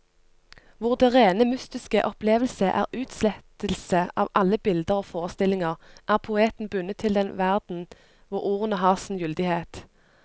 Hvor den rene mystiske opplevelse er utslettelse av alle bilder og forestillinger, er poeten bundet til den verden hvor ordene har sin gyldighet.